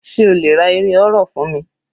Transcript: Sé o lè ra eré horror fún mi?